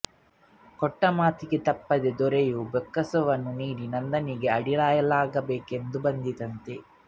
ಕೊಟ್ಟ ಮಾತಿಗೆ ತಪ್ಪದೆ ದೊರೆಯು ಬೊಕ್ಕಸವನ್ನು ನೀಡಿ ನಂದನಿಗೇ ಅಡಿಯಾಳಾಗಬೇಕಾಗಿ ಬಂತಂತೆ